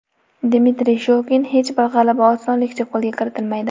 Dmitriy Shokin: Hech bir g‘alaba osonlikcha qo‘lga kiritilmaydi.